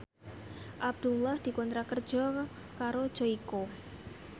Abdullah dikontrak kerja karo Joyko